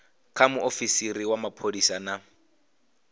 kha muofisiri wa mapholisa na